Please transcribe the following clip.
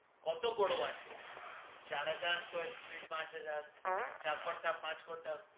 কত বারো আছে চারহাজার square feet পাঁচহাজার চার কাঠা পাঁচ কাঠা